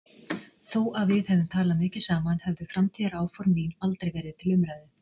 Þó að við hefðum talað mikið saman höfðu framtíðaráform mín aldrei verið til umræðu.